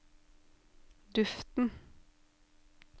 duften